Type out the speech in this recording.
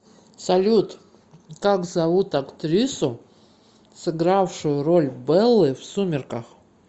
салют как зовут актрису сыгравшую роль беллы в сумерках